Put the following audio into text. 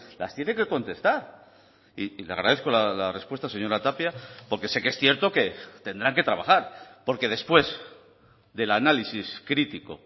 las tiene que contestar y le agradezco la respuesta señora tapia porque sé que es cierto que tendrán que trabajar porque después del análisis crítico